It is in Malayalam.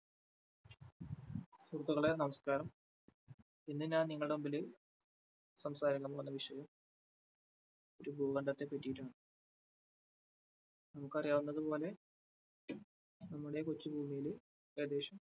സുഹൃത്തുക്കളെ നമസ്കാരം, ഇന്ന് ഞാൻ നിങ്ങളുടെ മുമ്പില് സംസാരിക്കാൻ പോകുന്ന വിഷയം ഒരു ഭൂഖണ്ഡത്തെ പറ്റിയിട്ടാണ്. നിങ്ങൾക്കറിയാവുന്നത് പോലെ നമ്മുടെ കൊച്ചു ഭൂമിയില് ഏകദേശം